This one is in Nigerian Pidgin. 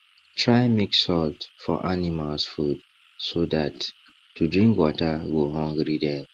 try mix salt for animals food so that to drink water go hungry dem